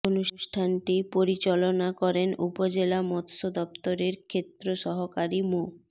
অনুষ্ঠানটি পরিচলনা করেন উপজেলা মৎস্য দপ্তরের ক্ষেত্র সহকারী মো